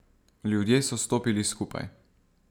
Ljudje so stopili skupaj.